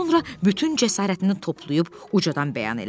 Sonra bütün cəsarətini toplayıb ucadan bəyan elədi: